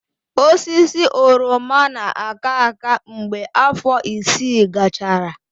Osisi oroma na-aka aka mgbe afọ isii gachara.